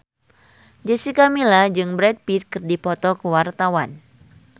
Jessica Milla jeung Brad Pitt keur dipoto ku wartawan